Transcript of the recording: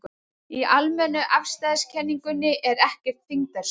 Í almennu afstæðiskenningunni er ekkert þyngdarsvið.